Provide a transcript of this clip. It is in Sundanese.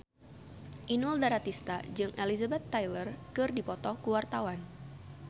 Inul Daratista jeung Elizabeth Taylor keur dipoto ku wartawan